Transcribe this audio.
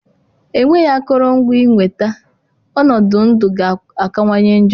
Enweghị akụrụngwa ịnweta, ọnọdụ ndụ ga-akawanye njọ